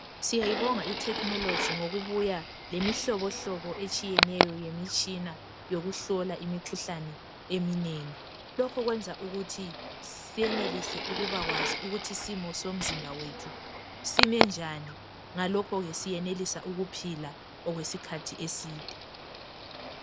Siyayibonga i"technology " ngokubuya lemihlobohlobo etshiyeneyo yemitshina yokuhlola imikhuhlane eminengi. Lokhu kwenza ukuthi senelise ukuba kwazi ukuthi isimo somzimba wethu sime njani ngalokho ke siyenelisa ukuphila okwesikhathi eside.